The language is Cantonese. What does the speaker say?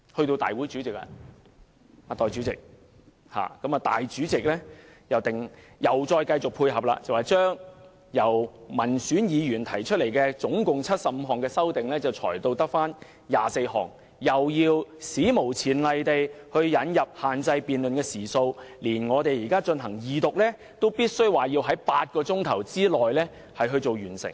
代理主席，立法會主席繼續配合政府，將民選議員提出的合共75項修正案，裁減至餘下24項，並史無前例限制辯論時數，連二讀辯論也限制在8小時內完成。